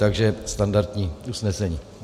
Takže standardní usnesení.